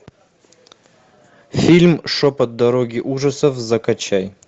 фильм шепот дороги ужасов закачай